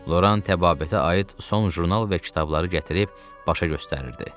Loran təbabətə aid son jurnal və kitabları gətirib başa göstərirdi.